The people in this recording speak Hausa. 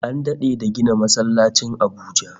An dade da gina masallacin Abuja